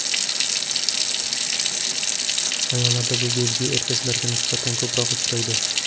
Ayollarda bu belgi erkaklarga nisbatan ko‘proq uchraydi.